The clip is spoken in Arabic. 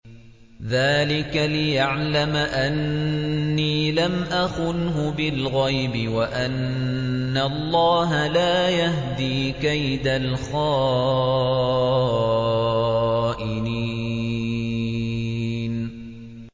ذَٰلِكَ لِيَعْلَمَ أَنِّي لَمْ أَخُنْهُ بِالْغَيْبِ وَأَنَّ اللَّهَ لَا يَهْدِي كَيْدَ الْخَائِنِينَ